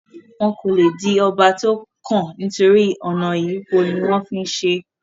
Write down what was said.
wọn kò le di ọba tó kàn nítorí ọ̀nà ìyípo ní wọ́n ń fí ń ṣe é